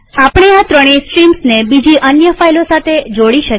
આપણે આ ત્રણેય સ્ટ્રીમ્સને બીજી અન્ય ફાઈલો સાથે જોડી શકીએ